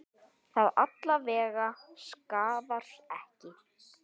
Það alla vega skaðar ekki.